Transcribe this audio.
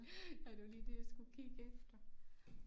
Ja det var lige det jeg skulle kigge efter